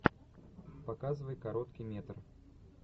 показывай короткий метр